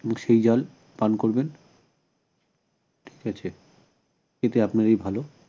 এবং সেই জল পান করবেন এতে আপনারই ভাল